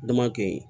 Dama kɛ yi